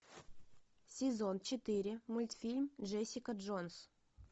сезон четыре мультфильм джессика джонс